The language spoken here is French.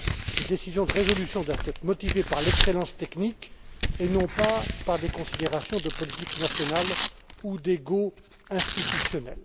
Les décisions de résolution doivent être motivées par l'excellence technique et non pas par des considérations de politique nationale ou d'ego institutionnel.